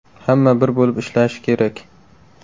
Hamma bir bo‘lib ishlashi kerak.